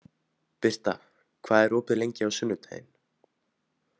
Birta, hvað er opið lengi á sunnudaginn?